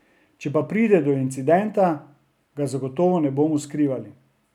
Če pa pride do incidenta, ga zagotovo ne bomo skrivali.